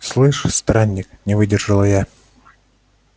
слышишь странник не выдержала я